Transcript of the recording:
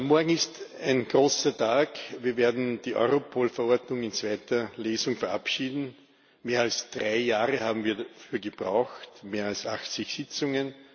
Morgen ist ein großer Tag wir werden die Europol Verordnung in zweiter Lesung verabschieden. Mehr als drei Jahre haben wir dafür gebraucht und mehr als 80 Sitzungen.